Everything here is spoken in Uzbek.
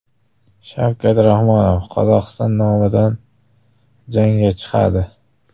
Shavkat Rahmonov Qozog‘iston nomidan jangga chiqadi.